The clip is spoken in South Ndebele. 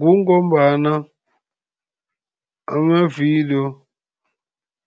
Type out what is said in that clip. Kungombana amavidiyo